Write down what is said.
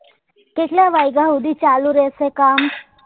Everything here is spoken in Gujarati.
કેટલા વગ્યા હુધી ચાલુ રહશે કામ?